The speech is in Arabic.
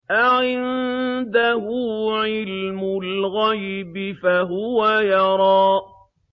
أَعِندَهُ عِلْمُ الْغَيْبِ فَهُوَ يَرَىٰ